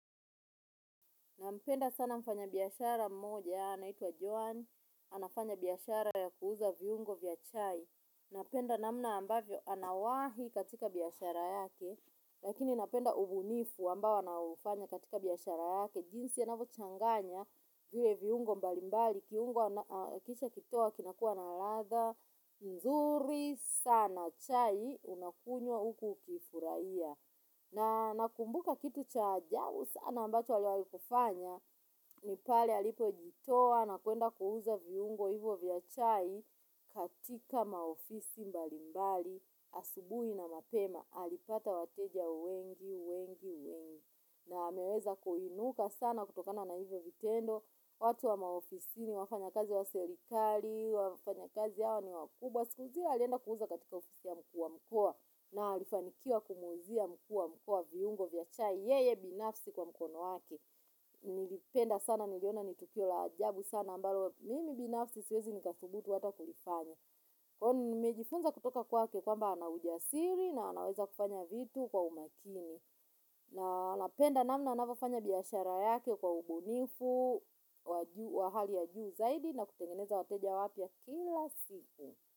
Nampenda sana mfanya biashara mmoja, anaitwa Joan, anafanya biashara ya kuuza viungo vya chai. Napenda namna ambavyo anawahi katika biashara yake, lakini napenda ubunifu ambao anaufanya katika biashara yake. Jinsi anavyo changanya vile viungo mbalimbali, kiungo akisha kitoa kinakua na ladha, nzuri, sana chai, unakunywa huku ukifuraia. Na nakumbuka kitu cha ajabu sana ambacho aliwai kufanya ni pale alipo jitowa na kuenda kuuza viungo hivyo vya chai katika maofisi mbalimbali asubui na mapema alipata wateja wengi wengi wengi na ameweza kuinuka sana kutokana na hivyo vitendo watu wa maofisini wafanyakazi wa serikali wafanyakazi hao ni wakubwa. Kwa siku zile alienda kuuza katika ofisi ya mkuu wa mkoa na alifanikiwa kumuuzia mkuu wa mkoa viungo vya chai yeye binafsi kwa mkono wake. Nilipenda sana niliona ni tukio la ajabu sana ambalo mimi binafsi siwezi nikafubutu ata kulifanya. Kwani nimejifunza kutoka kwake kwamba ana ujasiri na anaweza kufanya vitu kwa umakini. Na anapenda namna anavyofanya biashara yake kwa ubunifu, wa hali ya juu zaidi na kutengeneza wateja wapya kila siku.